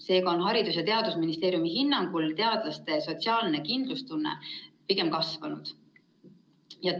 Seega on Haridus‑ ja Teadusministeeriumi hinnangul teadlaste sotsiaalne kindlustunne pigem kasvanud.